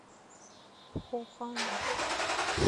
пхохан